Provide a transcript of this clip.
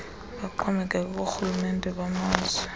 baxhomekeke koorhulumente bamazwe